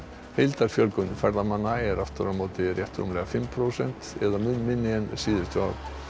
heildarfjölgun ferðamanna er aftur á móti rétt rúmlega fimm prósent eða mun minni en síðustu ár